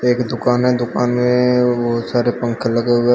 एक दुकान है दुकान में बहुत सारे पंखे लगे हुए हैं।